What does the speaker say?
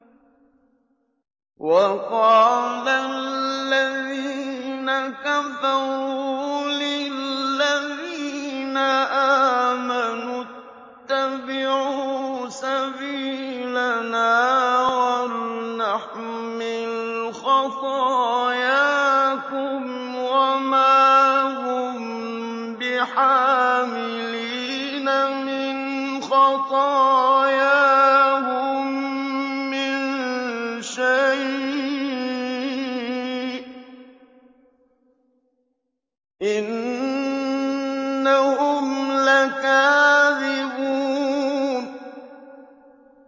وَقَالَ الَّذِينَ كَفَرُوا لِلَّذِينَ آمَنُوا اتَّبِعُوا سَبِيلَنَا وَلْنَحْمِلْ خَطَايَاكُمْ وَمَا هُم بِحَامِلِينَ مِنْ خَطَايَاهُم مِّن شَيْءٍ ۖ إِنَّهُمْ لَكَاذِبُونَ